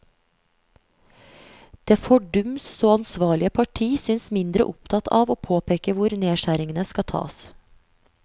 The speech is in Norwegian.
Det fordums så ansvarlige parti synes mindre opptatt av å påpeke hvor nedskjæringene skal tas.